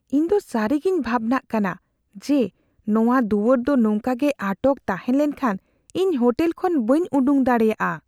ᱤᱧ ᱫᱚ ᱥᱟᱹᱨᱤᱜᱮᱧ ᱵᱷᱟᱵᱽᱱᱟᱜ ᱠᱟᱱᱟ ᱡᱮ ᱱᱚᱣᱟ ᱫᱩᱣᱟᱹᱨ ᱫᱚ ᱱᱚᱝᱠᱟ ᱜᱮ ᱟᱴᱚᱠ ᱛᱟᱦᱮᱸ ᱞᱮᱱᱠᱷᱟᱱ ᱤᱧ ᱦᱳᱴᱮᱞ ᱠᱷᱚᱱ ᱵᱟᱹᱧ ᱩᱰᱩᱠ ᱫᱟᱲᱮᱭᱟᱜᱼᱟ ᱾